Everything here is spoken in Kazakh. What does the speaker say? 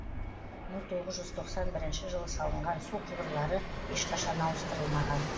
мың тоғыз жүз тоқсан бірінші жылы салынған су құбырлары ешқашан ауыстырылмаған